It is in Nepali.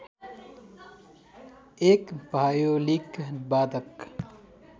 एक भायोलिन वादक